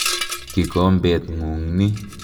Kikombet ng'ung' ni.